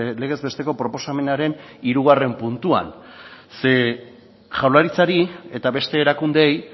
legez besteko proposamenaren hirugarren puntuan zeren jaurlaritzari eta beste erakundeei